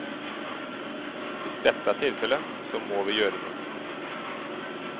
Hvis dette er tilfelle, så må vi gjøre noe.